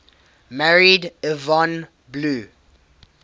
married yvonne blue